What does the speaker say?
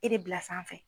E de bila sanfɛ